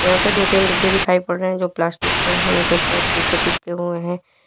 यहां पे दो तीन डिब्बे दिखाई पड़ रहे हैं जो प्लास्टिक के हैं। इनके ऊपर स्टीकर चिपके हुए हैं।